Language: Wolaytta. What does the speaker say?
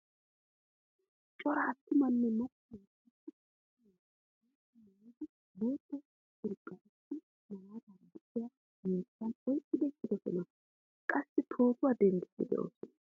Cora attumanne macca naati issippe ubbaay boottaa maayidi boottaa curqqan issi malaatara de'iyaa miishshan oyqqidi eqqidosona. Qassi pootuwaa denddidi deosona.